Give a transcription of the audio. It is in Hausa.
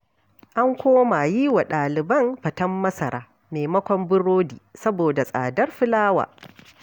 An koma yiwa ɗaliban faten masara maimakon biredi, saboda tsadar filawa.